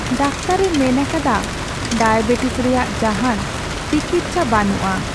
ᱫᱟᱠᱛᱟᱨᱼᱮ ᱢᱮᱱ ᱟᱠᱟᱫᱟ ᱰᱟᱭᱟᱵᱮᱴᱤᱥ ᱨᱮᱭᱟᱜ ᱡᱟᱦᱟᱱ ᱴᱤᱠᱤᱪᱪᱷᱟ ᱵᱟᱹᱱᱩᱜᱼᱟ ᱾